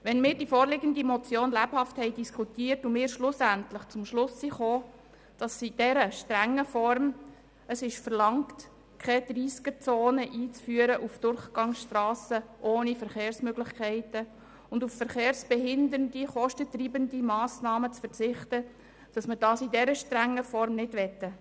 Nachdem wir die vorliegende Motion lebhaft diskutiert hatten, kamen wir zum Schluss, dass wir die Umsetzung der Motion in dieser strengen Form nicht möchten: